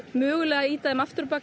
mögulega ýta þeim aftur á bak